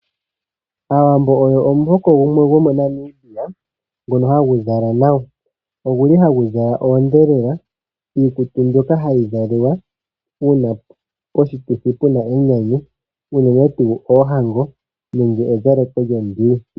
Aawambo oyo omuhoko gumwe gomoNamibia, ngoka hagu zala nawa. Oguli hagu zala oondhelela, iikutu mbyoka hayi zaliwa uuna poshituthi puna enyanyu, uunene tuu oohango nenge ezaleko lyondiwi.